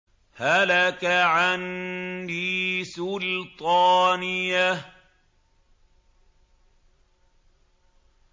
هَلَكَ عَنِّي سُلْطَانِيَهْ